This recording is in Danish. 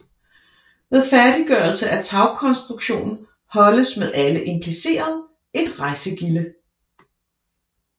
Ved færdiggørelse af tagkonstruktionen holdes med alle implicerede et rejsegilde